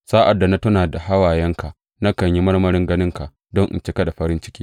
Sa’ad da na tuna da hawayenka, nakan yi marmarin ganinka, don in cika da farin ciki.